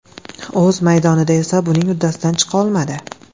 O‘z maydonida esa buning uddasidan chiqa olmadi.